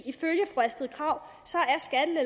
ifølge fru astrid krag